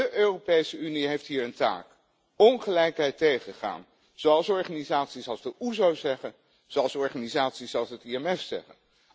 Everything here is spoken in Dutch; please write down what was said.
De Europese Unie heeft hier een taak ongelijkheid tegengaan, zoals organisaties als de OESO zeggen, zoals organisaties als het IMF zeggen.